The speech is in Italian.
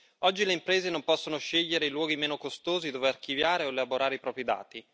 Oggi le imprese non possono scegliere i luoghi meno costosi dove archiviare o elaborare i propri dati.